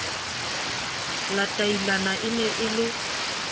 latailana e ne e le